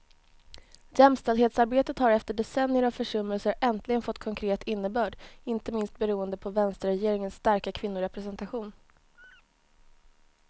Jämställdhetsarbetet har efter decennier av försummelser äntligen fått konkret innebörd, inte minst beroende på vänsterregeringens starka kvinnorepresentation.